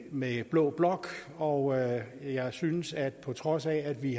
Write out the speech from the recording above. med blå blok og jeg synes at det på trods af vi